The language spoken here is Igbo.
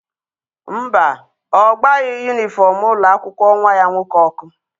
Mba, ọ gbaghị yunifọm ụlọ akwụkwọ nwa ya nwoke ọkụ.